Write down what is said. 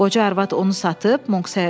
Qoca arvad onu satıb?”